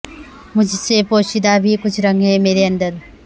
مجھ سے پوشیدہ بھی کچھ رنگ ہے میرے اندر